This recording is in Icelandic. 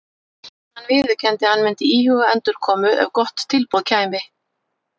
Hann viðurkenndi að hann myndi íhuga endurkomu ef gott tilboð kæmi.